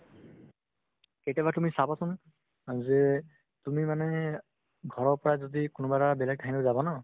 কেতিয়াবা তুমি চাবাচোন অ যে তুমি মানে ঘৰৰ পৰা যদি কোনোবা এটা বেলেগ ঠাইলৈ যাবা ন